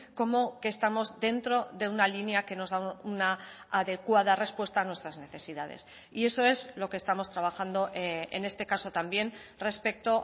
como que estamos dentro de una línea que nos da una adecuada respuesta a nuestras necesidades y eso es lo que estamos trabajando en este caso también respecto